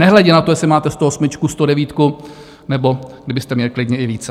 Nehledě na to, jestli máte 108, 109, nebo kdybyste měli klidně i více.